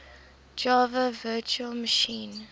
java virtual machine